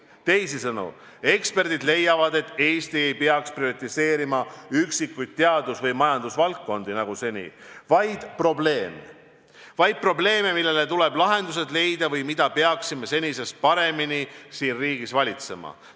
Teisisõnu, eksperdid leiavad, et Eesti ei peaks eelistama üksikuid teadus- või majandusvaldkondi nagu seni, vaid nägema probleeme, millele tuleb lahendused leida või mida peaksime senisest paremini siin riigis valitsema.